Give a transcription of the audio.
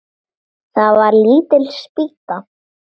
Það var lítil spýta.